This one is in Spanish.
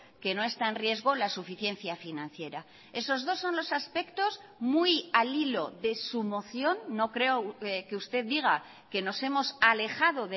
que no está en riesgo la suficiencia financiera esos dos son los aspectos muy al hilo de su moción no creo que usted diga que nos hemos alejado